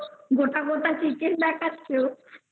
গোটা গোটা Chicken দেখছো তো